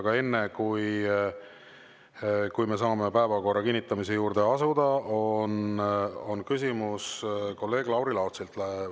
Aga enne, kui me saame päevakorra kinnitamise juurde asuda, on küsimus kolleeg Lauri Laatsil.